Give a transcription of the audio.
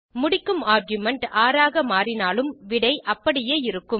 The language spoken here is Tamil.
முடிக்கும் ஆர்குமென்ட் 6 ஆக மாறினாலும் விடை அப்படியே இருக்கும்